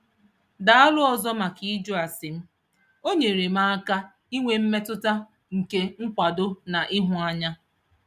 Daalụ ọzọ maka ịjụ ase m - o nyeere m aka inwe mmetụta nke nkwado na ịhụ anya.